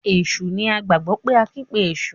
Èsù ní a gbagbọ pe ankpe eṣu.